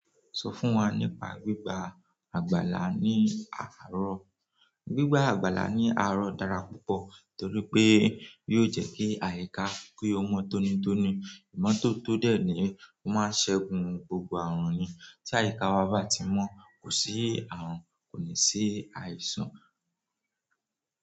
Sọ fún wa nípa gbígba àgbàlá ní àárọ̀. Gbígba àgbàlá ní àárọ̀ dára púpọ̀ torí pé yóò jẹ́ kí àyíká ki ó mọ́ tónítóní. Ìmọ́tótó dé ní, ó máa n ṣẹ́gun gbogbo ààrùn ni. Tí àyíká wa bá ti mọ́, kò sí ààrùn, kò ní sí àìsàn.